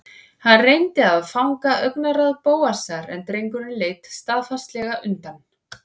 Hann reyndi að fanga augnaráð Bóasar en drengurinn leit staðfastlega undan.